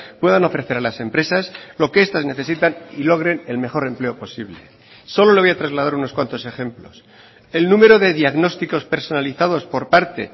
puedan ofrecer a las empresas lo que estas necesitan y logren el mejor empleo posible solo le voy a trasladar unos cuantos ejemplos el número de diagnósticos personalizados por parte